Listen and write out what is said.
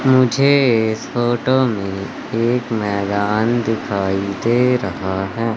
मुझे फोटो में एक मैदान दिखाई दे रहा है।